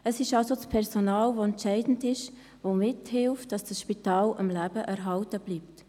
Das Personal ist also entscheidend, dieses hilft mit, dass dieses Spital am Leben erhalten bleibt.